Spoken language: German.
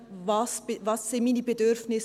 «Welches sind meine Bedürfnisse?